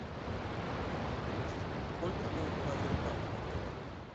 сколько стоит лазертаг в отеле